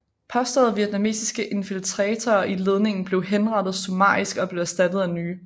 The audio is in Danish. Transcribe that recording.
Påståede vietnamesiske infiltratorer i ledningen blev henrettet summarisk og blev erstattet af nye